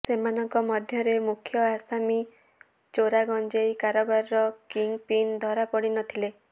ସେମାନଙ୍କ ମଧ୍ୟରେ ମୁଖ୍ୟ ଆସାମି ଚୋରାଗଜେଂଇ କାରବାରର କିଙ୍ଗ ପିନ ଧରା ପଡିନଥିଲେ